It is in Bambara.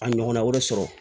A ɲɔgɔnna wɛrɛ sɔrɔ